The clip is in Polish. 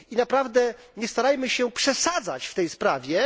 Naprawdę nie starajmy się przesadzać w tej sprawie.